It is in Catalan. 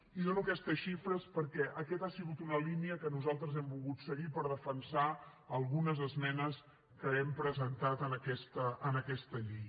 i dono aquestes xifres perquè aquesta ha sigut una línia que nosaltres hem volgut seguir per defensar algunes esmenes que hem presentat en aquesta llei